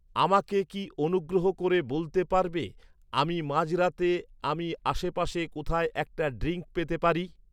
আমাকে কি অনুগ্রহ করে বলতে পারবে আমি মাঝরাতে আমি আশেপাশে কোথায় একটা ড্রিংক পেতে পারি